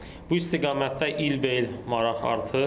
Bu istiqamətdə ilbəil maraq artır.